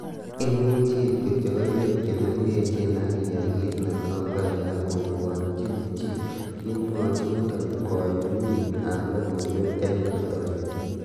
" Imuche iib kityok koywek chemengechen ak iyae kit netomkai kobwotyin chii,"Kimwochi muren koyumik ab logoywek en Pretoria.